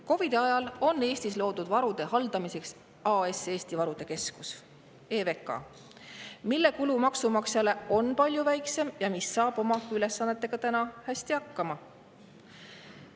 COVID‑i ajal loodi Eestis varude haldamiseks AS Eesti Varude Keskus, EVK, mille kulu maksumaksjale on palju väiksem ja mis saab oma ülesannetega hästi hakkama.